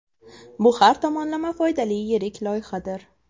Bu har tomonlama foydali yirik loyihadir.